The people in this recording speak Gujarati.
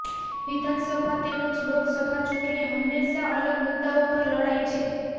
વિધાનસભા તેમજ લોકસભા ચૂંટણી હંમેશા અલગ મુદ્દાઓ પર લડાય છે